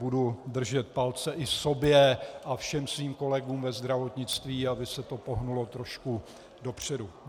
Budu držet palce i sobě a všem svým kolegům ve zdravotnictví, aby se to pohnulo trošku dopředu.